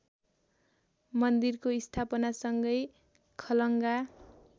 मन्दिरको स्थापनासँगै खलङ्गा